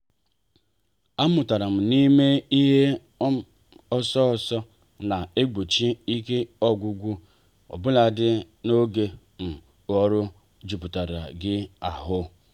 a mụtara m n'ime ihe um ọsọ ọsọ na-egbochi ike ọgwụgwụ obuladi n'oge um ọrụ jupụtara gị ahụ.